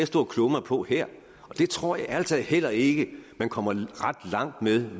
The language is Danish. stå og kloge mig på her og jeg tror ærlig talt heller ikke at man kommer ret langt ved